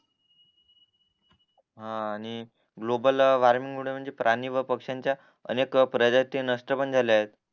हा आणि global warming मुळे म्हणजे प्राणी व पक्षांच्या अनेक प्रजाती नष्ट पण झाल्या आहेत